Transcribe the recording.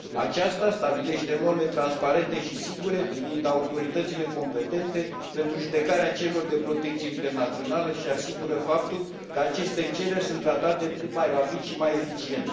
Aceasta stabilește norme transparente și sigure privind autoritățile competente pentru judecarea cererilor de protecție internațională și asigură faptul că aceste cereri sunt tratate cât mai rapid și mai eficient.